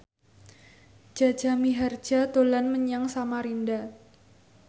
Jaja Mihardja dolan menyang Samarinda